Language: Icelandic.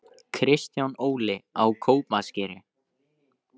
Kristján Óli: Á Kópaskeri